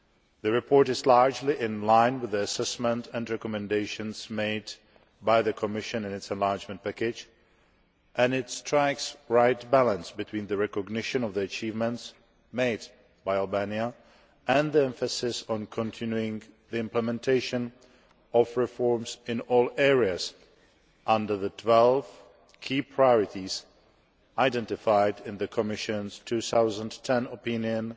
The report is largely in line with the assessment and recommendations made by the Commission in its Enlargement Package, and it strikes the right balance between the recognition of the achievements made by Albania and the emphasis on continuing the implementation of reforms in all areas under the 12 key priorities identified in the Commission's 2010 opinion